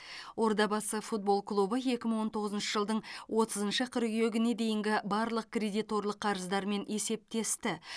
ордабасы футбол клубы екі мың он тоғызыншы жылдың отызыншы қыркүйегіне дейінгі барлық кредиторлық қарыздарымен есептесті